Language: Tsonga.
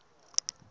swilo swa durha